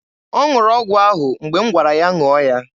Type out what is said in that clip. Ọ ṅụrụ ọgwụ ahụ mgbe m gwara ya ṅụọ ya.